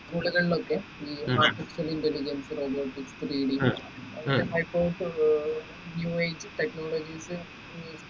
school കളിലൊക്കെ artificial intelligence അങ്ങനെ ഏർ യുഎ ഇ ക്ക് technologies ഉം